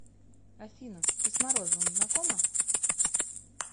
афина ты с морозовым знакома